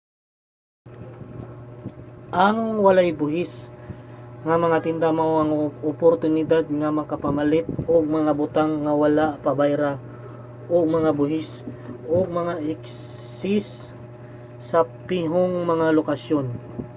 ang walay-buhis nga mga tinda mao ang oportunidad nga makapamalit og mga butang nga wala pabayra og mga buhis ug mga excise sa pihong mga lokasyon